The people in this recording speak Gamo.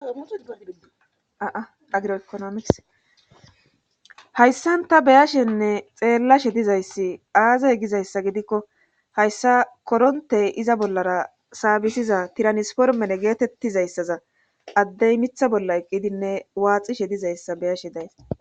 aaagroekonomis hayssanta beyashenne xeellashe dizayssi aazey gizayssa gidikko hayssa korontey iza bollara saabisiza tiranisformene geetettizayssaza addey mitha bolla eqqidinne waaxishe dizayssa beyashe days